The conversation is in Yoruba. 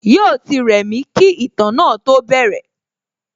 Yóò ti rẹ̀mí kí ìtàn náà tó bẹ̀rẹ̀